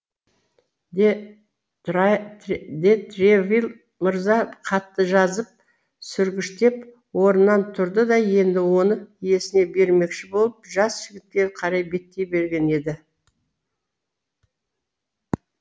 де тревиль мырза хатты жазып сүргіштеп орнынан тұрды да енді оны иесіне бермекші болып жас жігітке қарай беттей берген еді